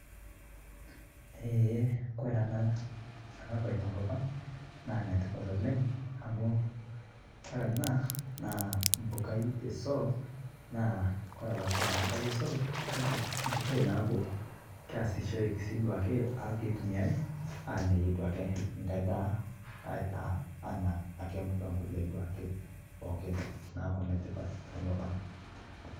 Eeh kore ana ana baye te nkopang naa netipat oleng amu kore ana naa mbukaa esoroo. Naa kore abaake amu kaiyeu sooro kaki mbukai naaku keasishoreki sii duake aa keitumiari aanyayie duake nkaai ndaa aitaa anaa duake mbukaa nkaai kulee pookin naaku netipaat te nkopang.